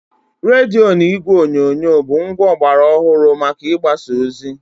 Rediyo na igwe onyonyo bụ ngwa ọgbara ọhụrụ maka ịgbasa ozi.